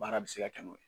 Baara bɛ se ka kɛ n'o ye